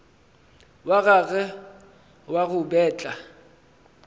wa gagwe wa go betla